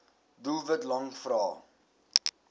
doelwit lang vrae